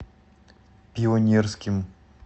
пионерским